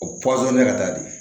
O ka taa di